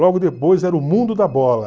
Logo depois era o Mundo da Bola.